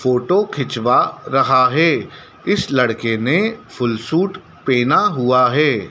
Photo खिंचवा रहा है इस लड़के ने फुल सूट पहना हुआ है।